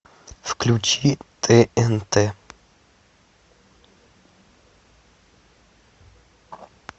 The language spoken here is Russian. включи тнт